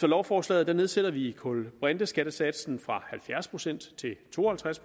lovforslaget nedsætter vi kulbrinteskattesatsen fra halvfjerds procent til to og halvtreds